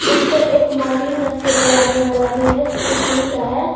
उसपे एक मार्टिन रखके जलाने वाला भी है जोकि स्टील का है।